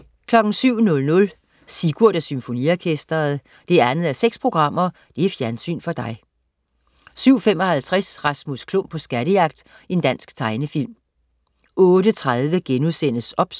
07.00 Sigurd og Symfoniorkestret. 2:6 Fjernsyn for dig 07.55 Rasmus Klump på skattejagt. Dansk tegnefilm 08.30 OBS*